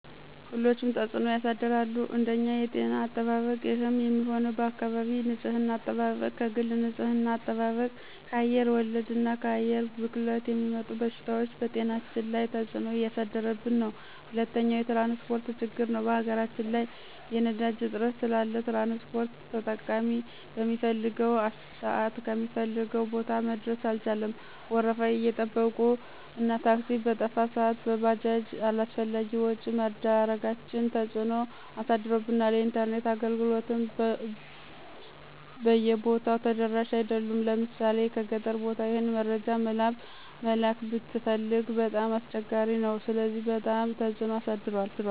ሁሎችም ተፅኖ ያሳድራሉ አንደኛ የጤና አጠባበቅ ይህም የሚሆነው በአካባቢ ንፅህና አጠባበቅ፣ ከግል ንፅህና አጠባብቅ፣ ከአየር ወለድ እና ከአየር ብክለት የሚመጡ በሽታዎች በጤናችን ላይ ተፅኖ እያሳደረብን ነው። ሁለተኛው የትራንስፖርት ችግር ነው በሀገራችን ላይ የነዳጅ እጥረት ስላለ ትራንስፖርት ተጠቃሚ በሚፈልገው ስአት ከሚፈልገው ቦታ መድረስ አልቻለም ወረፋ መጠበቁ እና ታክሲ በጠፋ ስአት በባጃጅ አላስፈላጊ ወጭ መዳረጋችን ተፅኖ አሳድሮብናል። የኢንተርኔት አገልግሎትም ብይ ቦታው ተደራሽ አይደሉም ለምሣሌ ገጠር ቦታ ይህን መረጃ መላክ ብትፈልግ በጣም አስቸጋሪ ነው ስለዚህ በጣም ትፅኖ አሳድሮብናል።